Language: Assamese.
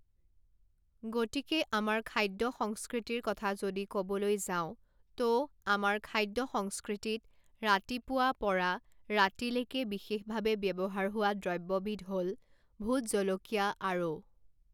গতিকে আমাৰ খাদ্য সংস্কৃতিৰ কথা যদি ক'বলৈ যাওঁ ত' আমাৰ খাদ্য সংস্কৃতিত ৰাতিপুৱা পৰা ৰাতিলেকে বিশেষভাৱে ব্যৱহাৰ হোৱা দ্ৰব্যবিধ হ'ল ভোট জলকীয়া আৰু